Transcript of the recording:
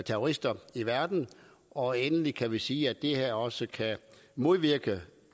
terrorister i verden og endelig kan vi sige at det her også kan modvirke at